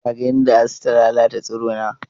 Ka ga yadda asu ta lalata tsirona?